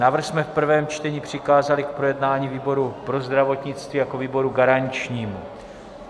Návrh jsme v prvém čtení přikázali k projednání výboru pro zdravotnictví jako výboru garančnímu.